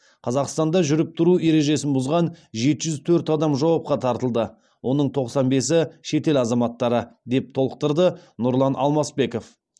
қазақстанда жүріп тұру ережесін бұзған жеті жүз төрт адам жауапқа тартылды оның тоқсан бесі шетел азаматтары деп толықтырды нұрлан алмасбеков